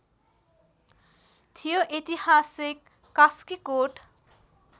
थियो ऐतिहासिक कास्कीकोट